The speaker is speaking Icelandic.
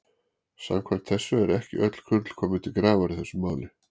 Samkvæmt þessu eru ekki öll kurl komin til grafar í þessu máli.